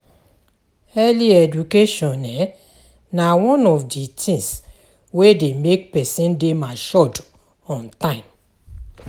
Early education na one of di things wey de make persin de matured on time